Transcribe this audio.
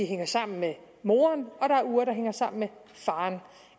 hænger sammen med moren og der er uger der hænger sammen med faren